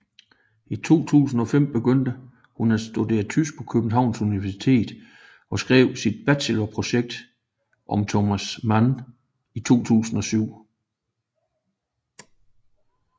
I 2005 begyndte hun at studere tysk på Københavns Universitet og skrev sit bachelorprojekt om Thomas Mann i 2007